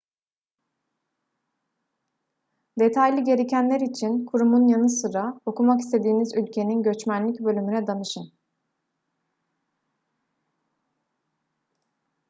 detaylı gerekenler için kurumun yanı sıra okumak istediğiniz ülkenin göçmenlik bölümüne danışın